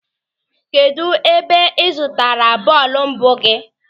Kedụ ebe ị zụtara bọọlụ mbụ gị?